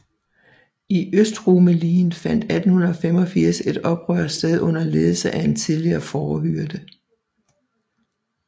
I Østrumelien fandt 1885 et oprør sted under ledelse af en tidligere fårehyrde